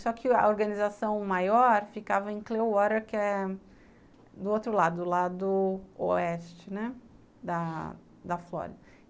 Só que a organização maior ficava em Clearwater, que é do outro lado, do lado oeste, né, da Flórida.